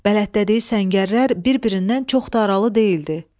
Bələddədiyi səngərlər bir-birindən çox da aralı deyildi.